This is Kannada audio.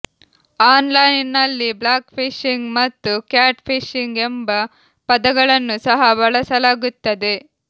ಆನ್ ಲೈನ್ ನಲ್ಲಿ ಬ್ಲಾಕ್ ಫಿಶಿಂಗ್ ಮತ್ತು ಕ್ಯಾಟ್ ಫಿಶಿಂಗ್ ಎಂಬ ಪದಗಳನ್ನು ಸಹ ಬಳಸಲಾಗುತ್ತದೆ